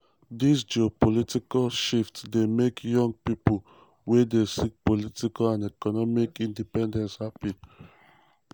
dis geopolitical shift dey make young pipo wey dey seek political and economic independence happy.